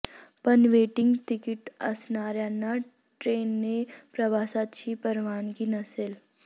पण waiting ticket असणाऱ्यांना ट्रेनने प्रवासाची परवानगी नसेल